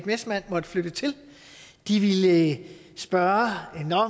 messmann måtte flytte til ville spørge